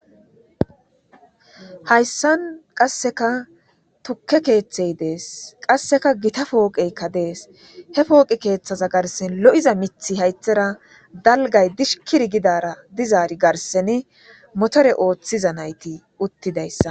hayssan qasseka tukke keeththey dees qasseka gita pooqeykka dees he pooqe keeththaza garsen lo7iza mithi haythera dalgay dishkir gidara dizaari garseni motore ooththiza nayti uttidayssa